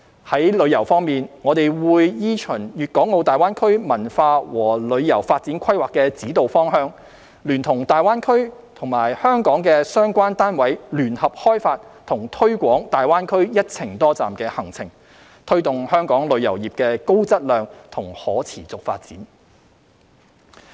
在旅遊方面，我們會依循《粵港澳大灣區文化和旅遊發展規劃》的指導方向，聯同大灣區及香港的相關單位聯合開發和推廣大灣區"一程多站"行程，推動香港旅遊業的高質量及可持續發展。